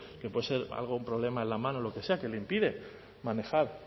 que puede ser un problema en la mano lo que sea que le impide manejar